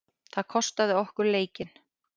Það kostaði okkur leikinn.